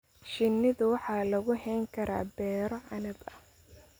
Shinida waxaa lagu hayn karaa beero canab ah.